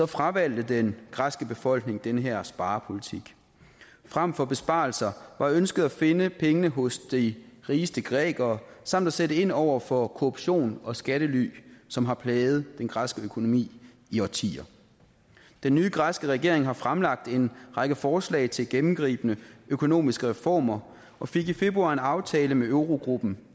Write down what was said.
fravalgte den græske befolkning den her sparepolitik frem for besparelser var ønsket at finde pengene hos de rigeste grækere samt at sætte ind over for korruption og skattely som har plaget den græske økonomi i årtier den nye græske regering har fremlagt en række forslag til gennemgribende økonomiske reformer og fik i februar en aftale med eurogruppen